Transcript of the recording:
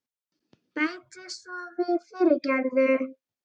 Bæti svo við, fyrirgefðu.